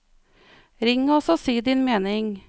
Ring oss og si din mening.